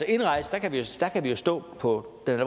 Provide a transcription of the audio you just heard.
indrejse kan vi jo slå på den